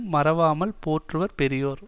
மறவாமல் போற்றுவர் பெரியோர்